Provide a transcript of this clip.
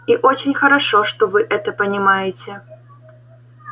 и очень хорошо что вы это понимаете